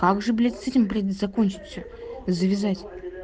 как же блять с этим блять закончить все завязать